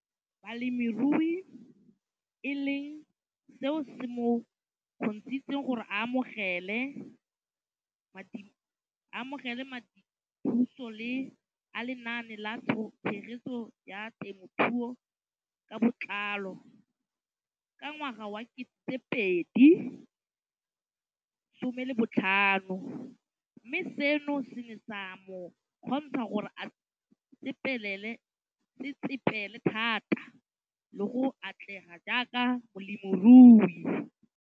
Balemirui e leng seo se mo kgontshitseng gore a amogele madithuso a Lenaane la Tshegetso ya Te mothuo ka Botlalo, CASP] ka ngwaga wa 2015, mme seno se ne sa mo kgontsha gore a tsetsepele thata le go atlega jaaka molemirui.